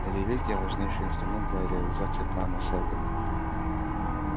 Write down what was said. религия важнейший инструмент для реализации плана сэлдона